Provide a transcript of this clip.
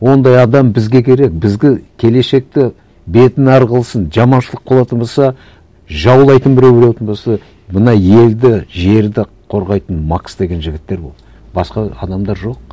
ондай адам бізге керек бізге келешекте бетін әрі қылсын жаманшылық болатын болса жаулайтын біреу болатын болса мына елді жерді қорғайтын макс деген жігіттер болады басқа адамдар жоқ